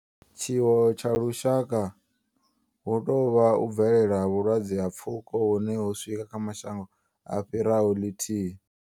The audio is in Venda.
Tshiwo tsha lushaka hu tou vha u bvelela ha vhulwadze ha pfuko hune ho swika kha mashango a fhiraho lithihi.